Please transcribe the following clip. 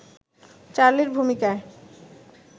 চার্লির ভূমিকায়